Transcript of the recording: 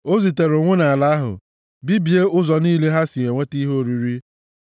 O zitere ụnwụ nʼala ahụ, bibie ụzọ niile ha si enweta ihe oriri;